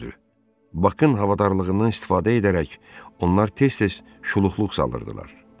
Bak-ın havadarlığından istifadə edərək onlar tez-tez şuluqluq salırdılar.